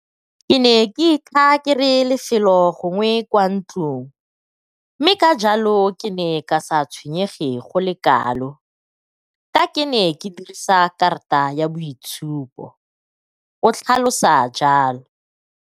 Ke ne ke ithaa kere lefelo gongwe kwa ntlong mme ka jalo ke ne ka sa tshwenyege go le kalo ka ke ne ke dirisa karata ya boitshupo, o tlhalosa jalo.